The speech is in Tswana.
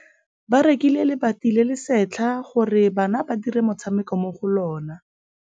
Ba rekile lebati le le setlha gore bana ba dire motshameko mo go lona.